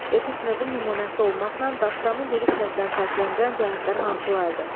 Epik növün nümunəsi olmaqla dastanı lirik növdən fərqləndirən cəhətlər hansılardır?